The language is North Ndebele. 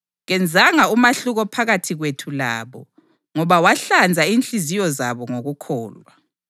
Kenzanga umahluko phakathi kwethu labo, ngoba wahlanza inhliziyo zabo ngokukholwa.